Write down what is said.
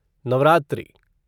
Navratri